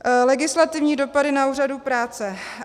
Legislativní dopady na úřadu práce.